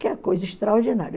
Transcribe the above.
Que é coisa extraordinária.